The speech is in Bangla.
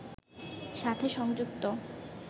সাথে সংযুক্ত